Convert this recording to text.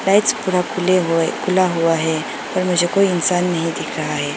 Lights पूरा खुले हुए खुला हुआ है और मुझे कोई इंसान नहीं दिख रहा है।